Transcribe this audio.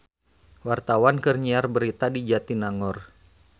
Wartawan keur nyiar berita di Jatinangor